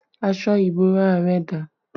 Aṣọ ìbora rẹ dà?